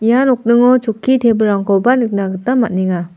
ia nokningo chokki tebilrangkoba nikna gita man·enga.